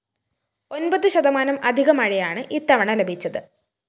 ഒന്‍പത് ശതമാനം അധിക മഴയാണ് ഇത്തവണ ലഭിച്ചത്